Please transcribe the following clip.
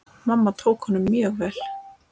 Mamma tók honum mjög vel.